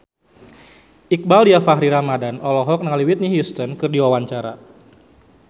Iqbaal Dhiafakhri Ramadhan olohok ningali Whitney Houston keur diwawancara